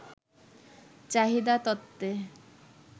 চাহিদা তত্ত্বে